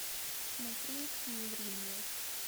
смотреть не ври мне